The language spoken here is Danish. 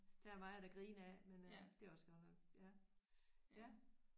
Der er meget at grine af men øh det er også godt nok ja ja